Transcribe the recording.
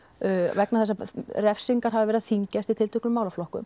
vegna þess að refsingar hafa verið að þyngjast í tilteknum málaflokkum